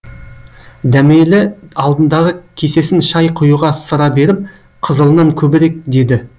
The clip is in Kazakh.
дәмелі алдындағы кесесін шай құюшыға ысыра беріп қызылынан көбірек деді